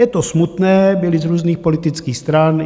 Je to smutné, byli z různých politických stran.